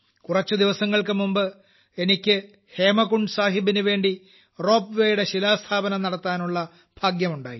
കുറച്ചു ദിവസങ്ങൾക്കുമുമ്പ് എനിക്ക് ഹേമകുണ്ട് സാഹിബിനുവേണ്ട റോപ്വേയുടെ ശിലാസ്ഥാപനം നടത്താനുള്ള ഭാഗ്യമുണ്ടായി